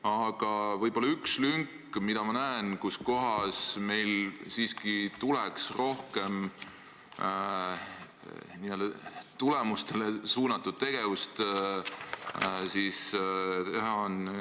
Aga on üks lünk, kus kohas meil siiski tuleks rohkem n-ö tulemustele suunatud tegevusele pühenduda.